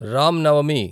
Ram Navami